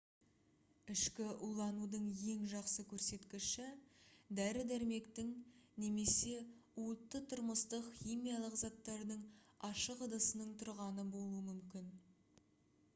ішкі уланудың ең жақсы көрсеткіші дәрі-дәрмектің немесе уытты тұрмыстық химиялық заттардың ашық ыдысының тұрғаны болуы мүмкін